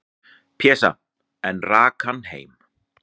"""Pésa, en rak hann heim."""